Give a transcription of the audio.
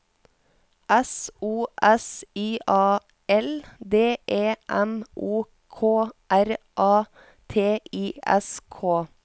S O S I A L D E M O K R A T I S K